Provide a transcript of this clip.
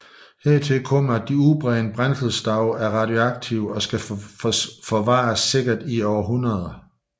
Hertil kommer at de udbrændte brændselsstave er radioaktive og skal forvares sikkert i århundreder